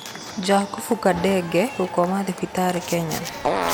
Jakubu Kandenge gũkoma thibitarĩ Kenya.